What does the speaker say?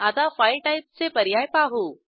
आता फाईल टाईपचे पर्याय पाहू